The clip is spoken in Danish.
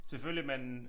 Selvfølgelig men